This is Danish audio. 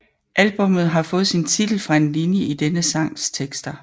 Albummet har fået sin titel fra en linje i denne sangs tekster